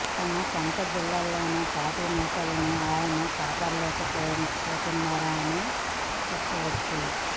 తన సొంత జిల్లాలోనే పార్టీ నేతల్ని ఆయన కాపాడుకోలేకపోతున్నారు అని చెప్పొచ్చు